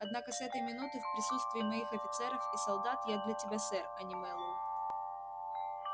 однако с этой минуты в присутствии моих офицеров и солдат я для тебя сэр а не мэллоу